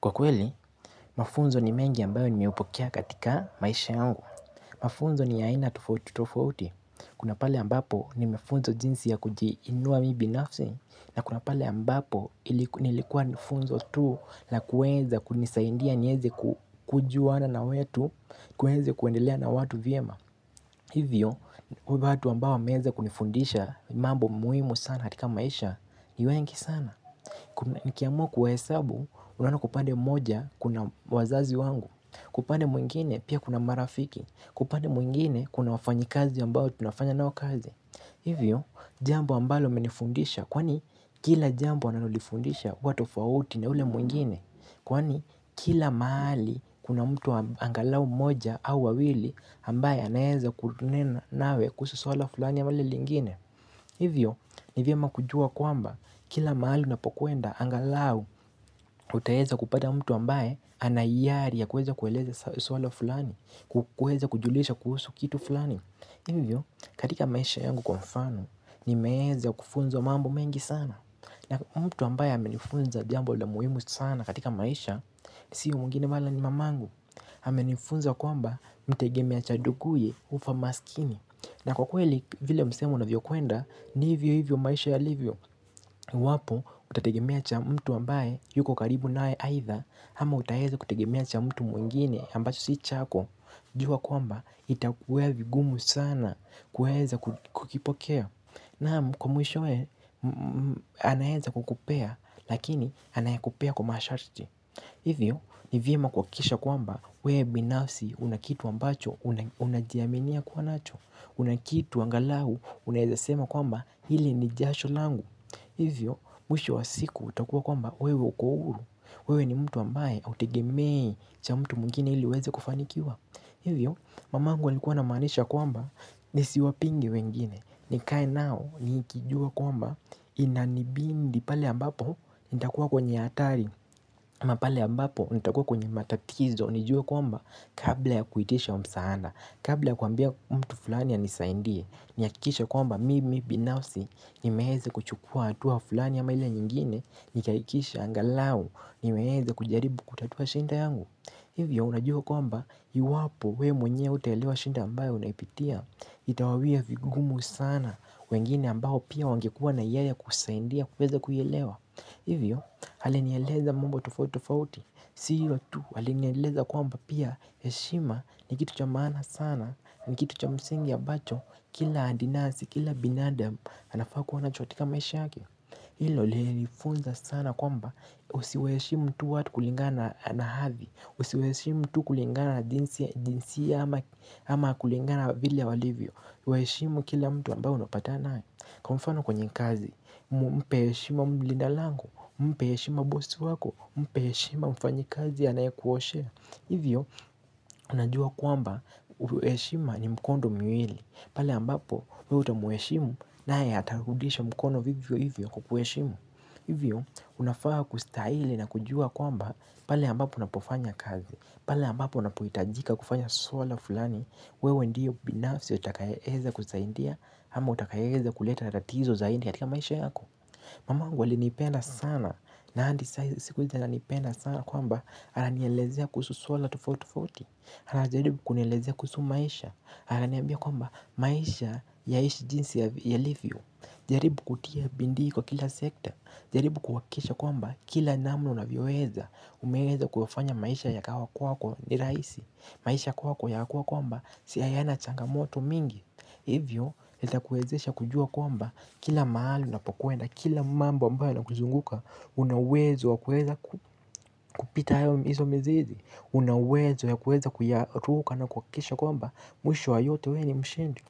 Kwa kweli, mafunzo ni mengi ambayo nimeupokea katika maisha yangu. Mafunzo ni ya aina tofauti tofauti, kunapale ambapo nimefunzwa jinsi ya kujiinua mimi binafsi, na kunapale ambapo ilikuwa nifunzo tuu la kuweza kunisaidia niweze kujuana na watu, kuweza kuendelea na watu vyema. Hivyo, watu ambao wameweza kunifundisha mambo muhimu sana katika maisha ni wengi sana. Nkiamua kuwahesabu unaona kwa upande mmoja kuna wazazi wangu Kwa upande mwingine pia kuna marafiki Kwa upande mwingine kuna wafanyi kazi ambao tunafanya nao kazi Hivyo jambo ambalo amenifundisha Kwani kila jambo analolifundisha huwa tofauti na ule mwingine Kwani kila mahali kuna mtu angalau mmoja au wawili ambaye anaweza kunena nawe kuhusu suala fulani ama lile lingine Hivyo ni vyema kujua kwamba kila mahali unapokuenda angalau utaweza kupata mtu ambaye anayari ya kuweza kueleza swala fulani, kuweza kujulisha kuhusu kitu fulani. Hivyo katika maisha yangu kwa mfano ni meweza kufunzwa mambo mengi sana. Na mtu ambaye amenifunza jambo la muhimu sana katika maisha si mwingine wala ni mamangu. Amenifunza kwamba mtegemea cha nduguye hufa maskini. Na kwa kweli vile msemo unavyo kwenda ni hivyo hivyo maisha ya livyo iwapo utategemea cha mtu ambaye yuko karibu nawe aitha Ama utaweza kutegemea cha mtu mwingine ambacho si chako jua kwamba itakuwa vigumu sana kuweza kukipokea Naam kwa mwishowe anaweza kukupea lakini anayakupea kwa masharti Hivyo ni vyema kuhakikisha kwamba wewe binafsi una kitu ambacho unajiaminia kuwa nacho Unakitu angalau unawezasema kwamba hili ni jasholangu Hivyo mwisho wa siku utakuwa kwamba wewe uko huru wewe ni mtu ambaye hautegemei cha mtu mwingine ili uweze kufanikiwa Hivyo mamangu alikuwa ana maanisha kwamba nisiwapinge wengine nikae nao nikijua kwamba inanibidi pale ambapo nitakuwa kwenye hatari ama pale ambapo nitakuwa kwenye matatizo nijue kwamba kabla ya kuitisha msaada Kabla ya kuambia mtu fulani anisaidie, nihakikishe kwamba mimi binafsi nimeweza kuchukua hatua fulani ama ile nyingine Nikahikikisha angalau nimeweza kujaribu kutatua shida yangu Hivyo unajua kwamba iwapo wewe mwenyewe hutaelewa shida ambayo unaipitia Itawawia vigumu sana wengine ambao pia wangekuwa na yeye kukusaidia uweze kuielewa Hivyo alinieleza mambo tofauti tofauti Si hilo tu alinieleza kwamba pia heshima ni kitu cha maana sana ni kitu cha msingi ambacho Kila adinasi, kila binadamu anafaa kuwa nacho katika maisha yake Hilo liliniifunza sana kwamba Usiwaheshimu tu watu kulingana na hadhi Usiwaheshimu tu kulingana na jinsia ama Ama kulingana vile walivyo Waheshimu kila mtu ambao unapatana naye Kwa mfano kwenye kazi Mpe heshima mlinda lango Mpe heshima bosi wako Mpe heshima mfanyi kazi anaye kuoshea Hivyo, unajua kwamba heshima ni mkondo miwili Pala ambapo, wewe utamuheshimu nae atarudisha mkono vivyo hivyo kukuheshimu Hivyo, unafaa kustahili na kujua kwamba pale ambapo unapofanya kazi Pala ambapo unapohitajika kufanya swala fulani wewe ndio binafsi utakaye weza kusaidia ama utakaye weza kuleta tatizo zaidi katika maisha yako Mamangu alinipenda sana na hadi siku hizi ananipenda sana kwamba ana nielezea kuhusu swala tufauti tofauti ana jaribu kunielezea kuhusu maisha ana niambia kwamba maisha yaishi jinsi yalivyo jaribu kutia bidii kwa kila sekta jaribu kuhakikisha kwamba kila namna unavyoweza umeweza kufanya maisha ya kawa kwako ni rahisi maisha kwako yakakuwa kwamba si hayana changamoto mingi Hivyo, itakuwezesha kujua kwamba kila mahali unapokwenda, kila mambo ambayo yana kuzunguka, una uwezo wa kuweza kupita hayo izo mizizi, unauwezo ya kuweza kuyaruka na kuhakikisha kwamba mwisho wa yote wewe ni mshindi.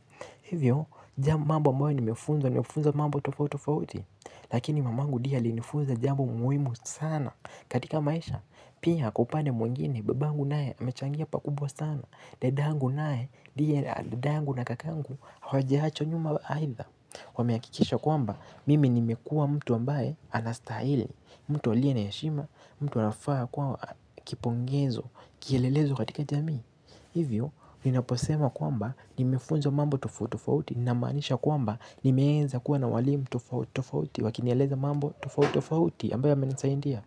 Hivyo, jambo mambo ambayo nimefunzwa, nimefunzwa mambo tofauti tofauti, lakini mamangu ndiye ali nifunza jambo muhimu sana katika maisha. Pia, kwa upande mwingine, babangu naye amechangia pakubwa sana, dadangu naye, ndiye dadangu na kakangu, hawa jawachwa nyuma aitha. Wamehakikisha kwamba mimi nimekuwa mtu ambaye anastahili mtu alie na heshima, mtu anafaa kuwa kipongezo, kielelezo katika jamii Hivyo, ninaposema kwamba nimefunzwa mambo tofauti tofauti Nina maanisha kwamba nimeweza kuwa na walimu tofauti tofauti, wakinieleza mambo tofauti tofauti ambayo yamenisaidia.